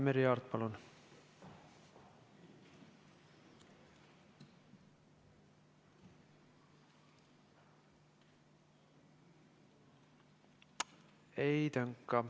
Merry Aart, palun!